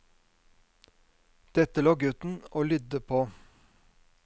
Dette lå gutten og lydde på.